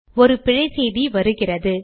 ஒரு பிழை செய்தி வருகிறது